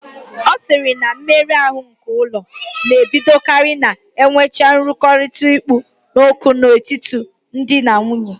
Ọ sịrị na mmeru ahụ nke ụlọ na-ebidokarị ma enwecha nrụrịtaụ́ká kpụ ọkụ n'ọnụ n'etiti di na nwunye